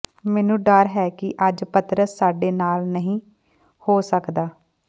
ਮੈਨੂੰ ਡਰ ਹੈ ਕਿ ਅੱਜ ਪਤਰਸ ਸਾਡੇ ਨਾਲ ਨਹੀਂ ਹੋ ਸਕਦਾ